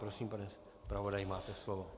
Prosím, pane zpravodaji, máte slovo.